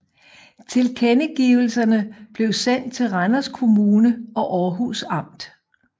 Tilkendegivelserne blev sendt til Randers Kommune og Århus Amt